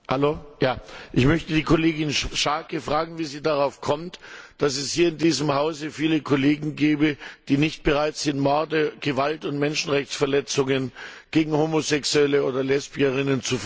Ich möchte die Kollegin Schaake fragen, wie sie darauf kommt, dass es hier in diesem Hause viele Kollegen gebe, die nicht bereit seien, Morde, Gewalt und Menschenrechtsverletzungen gegen Homosexuelle zu verurteilen.